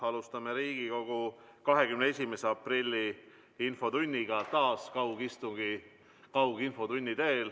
Alustame Riigikogu 21. aprilli infotundi taas kaugistungi korras.